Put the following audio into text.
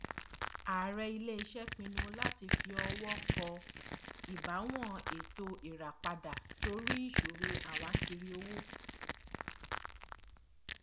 ààrẹ iléiṣẹ pinnu láti fi ọwọ kọ ìbáwọn ètò ìràpadà torí ìṣòro àwákírí owó